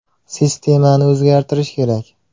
Sistemani o‘zgartirish kerak.